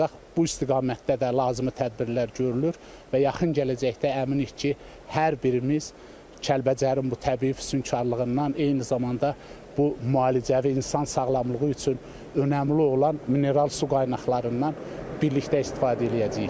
Ancaq bu istiqamətdə də lazımi tədbirlər görülür və yaxın gələcəkdə əminik ki, hər birimiz Kəlbəcərin bu təbii füsunkarlığından, eyni zamanda bu müalicəvi insan sağlamlığı üçün önəmli olan mineral su qaynaqlarından birlikdə istifadə eləyəcəyik.